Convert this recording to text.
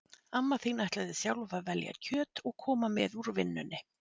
Amma þín ætlaði sjálf að velja kjöt og koma með úr vinnunni